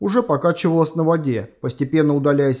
уже покачивалась на воде постепенно удаляясь